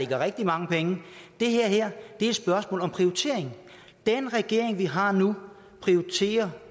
der rigtig mange penge det her er et spørgsmål om prioritering den regering vi har nu prioriterer